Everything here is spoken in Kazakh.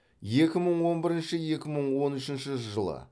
екі мың он бірінші екі мың он үшінші жылы